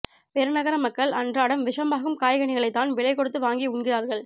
பெருநகர மக்கள் அன்றாடம் விஷமாகும் காய்கனிகளைத் தான் விலை கொடுத்து வாங்கி உண்ணுகிறார்கள்